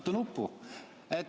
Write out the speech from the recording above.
Vajuta nuppu!